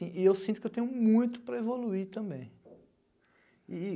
e eu sinto que eu tenho muito para evoluir também. E e